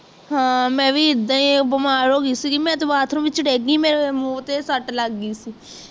ਹਾਂ ਮੈਂ ਵੀ ਇੱਦਾ ਹੀ ਬਿਮਾਰ ਹੋਗਈ ਸੀ ਮੈਂ ਤਾਂ bathroom ਵਿਚ ਡਿਗ ਗਈ ਮੈਂ ਮੂੰਹ ਤੇ ਸੱਟ ਲੱਗ ਗਈ